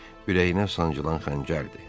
Ürəyinə sancılan xəncərdir.